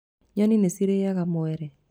Nyoni nĩ cirĩaga mwere.